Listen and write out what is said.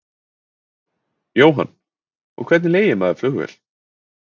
Jóhann: Og hvernig leigir maður flugvél?